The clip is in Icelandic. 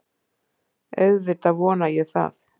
Auðvitað vona ég það